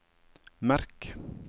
merk